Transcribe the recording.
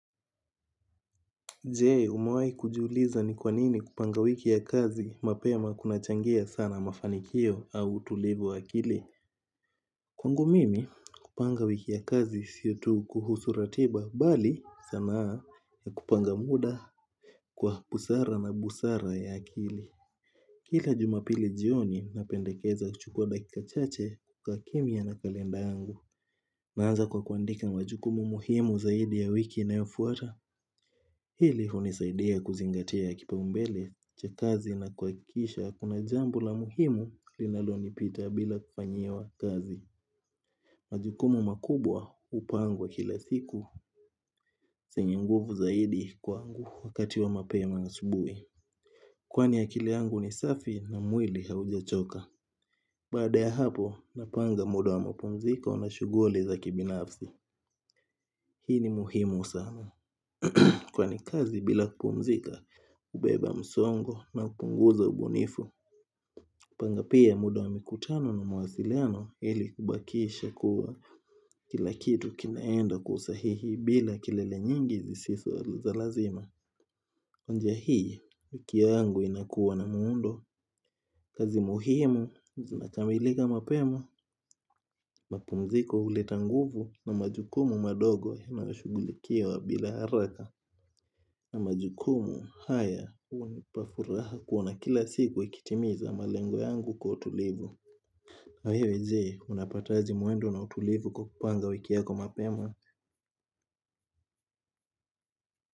Je, umewahi kujiuliza ni kw anini kupanga wiki ya kazi mapema kuna changia sana mafanikio au utulivu wa akili. Kwangu mimi kupanga wiki ya kazi si tu kuhusu ratiba bali sanaa ya kupanga muda kwa busara na busara ya akili. Kila jumapili jioni napendekeza kuchukua dakika chache kwa kimya na kalenda yangu. Naanza kwa kuandika majukumu muhimu zaidi ya wiki yanayofuata. Hili hunisaidia kuzingatia kipaimbele cha kazi na kuhakisha hakuna jambo la muhimu linalonipita bila kufanyiwa kazi. Majukumu makubwa hupangwa kila siku zenye nguvu zaidi kwa wakati wa mapema asubuhi. Kwani akili yangu ni safi na mwili haujachoka. Baada ya hapo napanga muda wa mapumziko na shughuli za kibinafsi. Hii ni muhimu sana Kwani kazi bila kupumzika hubeba msongo na kupunguza ubunifu.kupanga pia muda wa mikutano na mawasiliano ili kubakisha kuwa kila kitu kinaenda kwa usahihi bila kelele nyingi zisiso za lazima Onja hii, kioo yangu inakuwa na muundo kazi muhimu, zinakamilika mapema mapumziko huleta nguvu na majukumu madogo inashugulikiwa bila haraka ama majukumu haya hunipa furaha kuona kila siku ikitimiza malengo yangu kwa utulivu hayo je unapataje mwendo na utulivu kwa kupanga wiki yako mapema.